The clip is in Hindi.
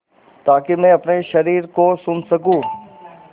ताकि मैं अपने शरीर को सुन सकूँ